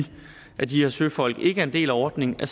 er at de her søfolk ikke er en del af ordningen er